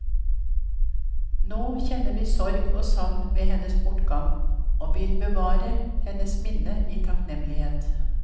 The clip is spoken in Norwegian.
Nå kjenner vi sorg og savn ved hennes bortgang, og vil bevare hennes minne i takknemlighet.